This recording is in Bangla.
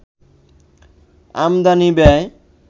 আমদানি ব্যয়